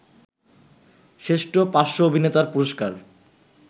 শ্রেষ্ঠ পার্শ্ব অভিনেতার পুরস্কার